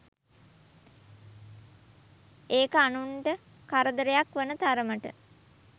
ඒක අනුන්ට කරදරයක් වන තරමට